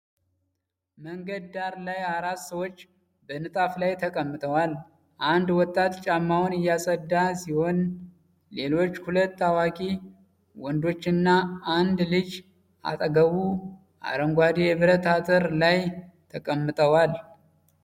መንገድ ዳር ላይ አራት ሰዎች በንጣፍ ላይ ተቀምጠዋል። አንድ ወጣት ጫማውን እያጸዳ ሲሆን ሌሎች ሁለት አዋቂ ወንዶችና አንድ ልጅ አጠገቡ አረንጓዴ የብረት አጥር ላይ ተቀምጠዋል።